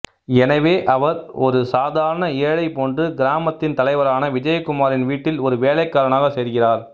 எனவே அவர் ஒரு சாதாரண ஏழை போன்று கிராமத்தின் தலைவரான விஜயகுமாரின் வீட்டில் ஒரு வேலைக்காரனாக சேர்கிறார்